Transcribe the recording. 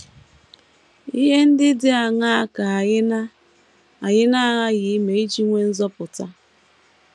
Ihe ndị dị aṅaa ka anyị na - anyị na - aghaghị ime iji nweta nzọpụta?